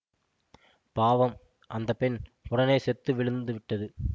பாவம் அந்த பெண் உடனே செத்து விழுந்து விட்டது